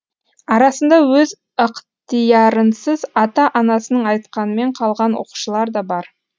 арасында өз ықтиярынсыз ата анасының айтқанымен қалған оқушылар да бар